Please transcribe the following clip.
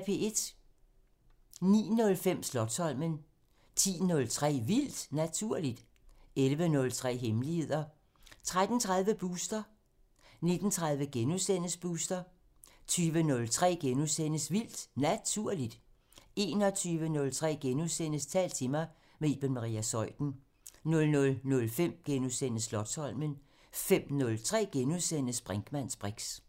09:05: Slotsholmen 10:03: Vildt Naturligt 11:03: Hemmeligheder 13:30: Booster 19:30: Booster * 20:03: Vildt Naturligt * 21:03: Tal til mig – med Iben Maria Zeuthen * 00:05: Slotsholmen * 05:03: Brinkmanns briks *